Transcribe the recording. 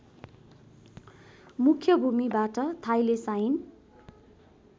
मुख्य भूमिबाट थाइलेसाइन